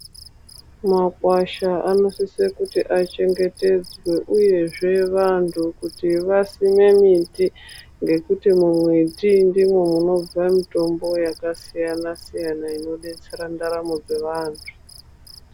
Makwasha anosise kuti achengetedzwe uyezve vantu kuti vasime miti. Ngekuti mumiti ndimwo mwunobva mitombo yakasiyana -siyana inodetsera ndaramo dzevantu.